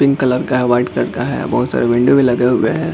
Pink colour का है white colour का है बहुत सारे विंडो भी लगे हुए हैं।